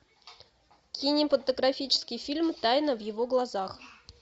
кинематографический фильм тайна в его глазах